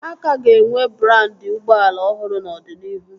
A ka ga-enwe brandị ụgbọala ọhụrụ n'ọdịnihu